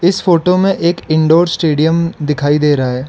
इस फोटो में एक इनडोर स्टेडियम दिखाई दे रहा है।